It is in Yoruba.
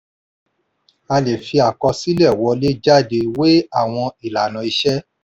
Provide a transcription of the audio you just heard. a lè fi àkọsílẹ̀ wọlé-jáde wé àwọn ìlànà iṣẹ́.